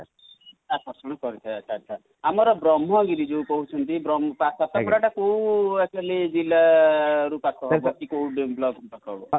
ଆକର୍ଷଣ କରିଥାଏ ଆଚ୍ଛା ଆଚ୍ଛା ଆମର ବ୍ରହ୍ମଗିରି ଯୋଉ କହୁଛନ୍ତି ସାତପଡ଼ା ଟା କୋଉ actually ଜ଼ିଲ୍ଲା ରୁ ପାଖ ହେବ କି କଉ ବ୍ଲକ ରୁ ପାଖ ହେବ?